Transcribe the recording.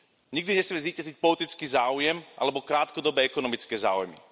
Nikdy nesmie zvíťaziť politický záujem alebo krátkodobé ekonomické záujmy.